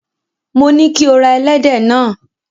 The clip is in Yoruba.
Mo ní kí o ra ẹlẹ́dẹ̀ náà.